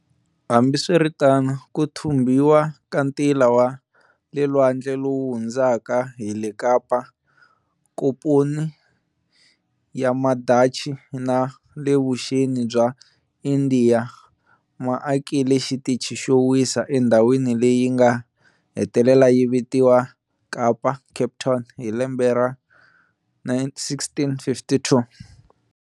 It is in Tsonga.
Hambiswiritano, ku thumbhiwa ka ntila wa le lwandle lowu hundzaka hi le Kapa, Nkomponi ya Madachi na le vuxeni bya Indiya ma akile xitichi xo wisa endzhawini leyi nga hetelela yi vitiwa Kapa, Cape Town, hi lembe ra 1652.